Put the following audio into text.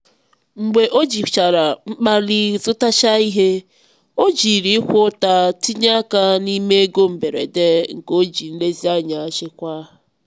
mgbe ojichara mkpali zụtachaa ihe o jiri ịkwa ụta tinye aka n'ime ego mberede nke o ji nlezianya chekwaa.